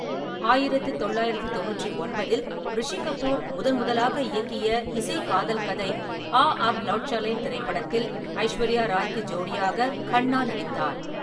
" ஆயிரத்து தொள்ளாயிரத்து தொண்ணூற்றி ஒன்பதில் ரிஷி கபூர் முதன் முதலாக இயக்கிய இசை காதல் கதை ‘ஆ அப் லாட் சலேன்’ திரைப்படத்தில் ஐஸ்வர்யா ராய்க்கு ஜோடியாக கண்ணா நடித்தார்.